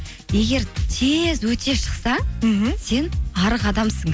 егер тез өте шықсаң мхм сен арық адамсың